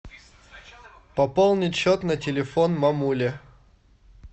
пополнить счет на телефон мамуле